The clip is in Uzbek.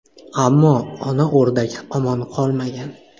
Ammo ona o‘rdak omon qolmagan.